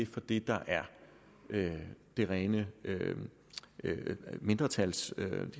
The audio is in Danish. for det der er de rene mindretalsbevillinger